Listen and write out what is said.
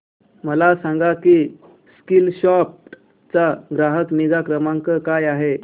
मला सांग की स्कीलसॉफ्ट चा ग्राहक निगा क्रमांक काय आहे